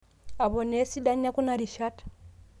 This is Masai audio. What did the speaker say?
Aponaa esidano ekuna rishat.